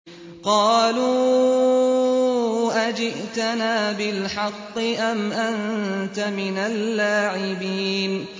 قَالُوا أَجِئْتَنَا بِالْحَقِّ أَمْ أَنتَ مِنَ اللَّاعِبِينَ